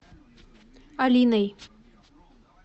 алиной